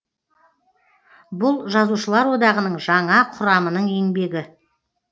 бұл жазушылар одағының жаңа құрамының еңбегі